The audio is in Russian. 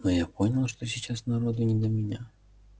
но я понял что сейчас народу не до меня